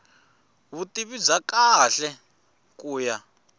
vutivi bya kahle ku ya